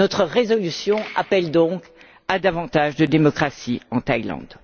Notre résolution appelle donc à davantage de démocratie en Thaïlande.